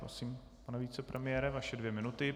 Prosím, pane vicepremiére, vaše dvě minuty.